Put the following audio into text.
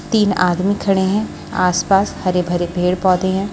तीन आदमी खड़े हैं आस पास हरे भरे पेड़ पौधे हैं।